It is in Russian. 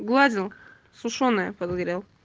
сглазил сушёная под горел